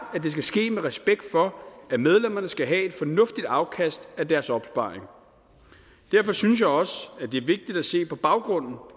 at det skal ske med respekt for at medlemmerne skal have et fornuftigt afkast af deres opsparing derfor synes jeg også at det er vigtigt at se på baggrunden